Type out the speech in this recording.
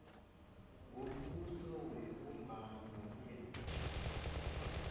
wombuso webumbano lesitjhaba